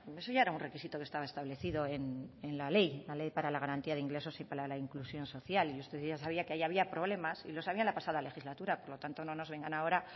eso ya era un requisito que estaba establecido en la ley de garantía de ingresos y para la inclusión social y usted ya sabía que ahí había problemas y lo sabía en la pasada legislatura por tanto no nos vengan ahora